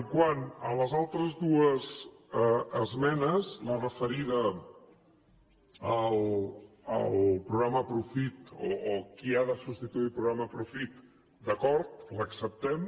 quant a les altres dues esmenes la referida al programa profit o qui ha de substituir el programa profit d’acord l’acceptem